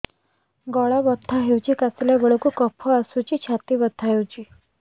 ଗଳା ବଥା ହେଊଛି କାଶିଲା ବେଳକୁ କଫ ଆସୁଛି ଛାତି ବଥା ହେଉଛି